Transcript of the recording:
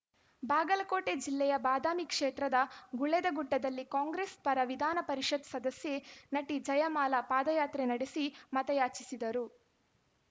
ಬಾಗಲಕೋಟೆ ಜಿಲ್ಲೆಯ ಬಾದಾಮಿ ಕ್ಷೇತ್ರದ ಗುಳೇದಗುಡ್ಡದಲ್ಲಿ ಕಾಂಗ್ರೆಸ್‌ಪರ ವಿಧಾನ ಪರಿಷತ್‌ ಸದಸ್ಯೆ ನಟಿ ಜಯಮಾಲಾ ಪಾದಯಾತ್ರೆ ನಡೆಸಿ ಮತಯಾಚಿಸಿದರು